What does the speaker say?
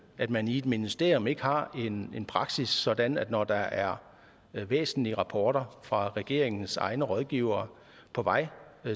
at man i et ministerium ikke har en praksis sådan at man når der er væsentlige rapporter fra regeringens egne rådgivere på vej